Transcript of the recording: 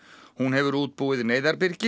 hún hefur útbúið